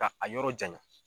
Ka a yɔrɔ janya.